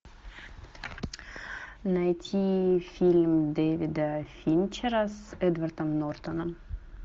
найти фильм дэвида финчера с эдвардом нортоном